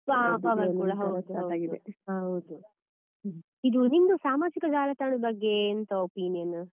ಹ power ಕೂಡ ಹೌದು ಇದು ನಿಮ್ದು ಸಾಮಾಜಿಕ ಜಾಲತಾಣದ ಬಗ್ಗೆ ಎಂತ opinion ?